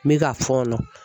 N bɛ ka fɔɔnɔ.